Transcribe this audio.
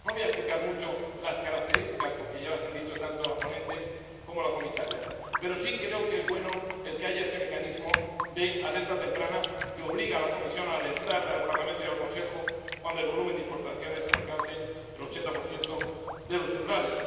No voy a explicar mucho las características, porque ya las han dicho tanto la ponente como la comisaria, pero sí creo que es bueno que haya ese mecanismo de alerta temprana que obliga a la Comisión a alertar al Parlamento y al Consejo cuando el volumen de importaciones alcance el 80 de los umbrales.